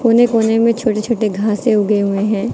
कोने कोने में छोटे छोटे घासे उगे गए हैं।